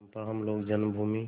चंपा हम लोग जन्मभूमि